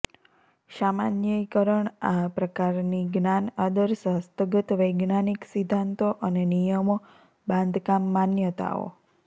સામાન્યીકરણ આ પ્રકારની જ્ઞાન આદર્શ હસ્તગત વૈજ્ઞાનિક સિદ્ધાંતો અને નિયમો બાંધકામ માન્યતાઓ